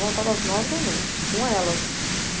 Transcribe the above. Voltava às nove da noite, com elas.